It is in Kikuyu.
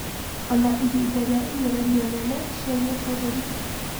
Ona ihinda rĩa igeranio nene cia gĩbũrũri.